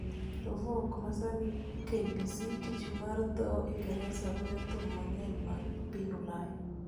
to VoK (ma sani KBC) Tich mar dho Ingresa goyo thum mang�eny mag piny Ulaya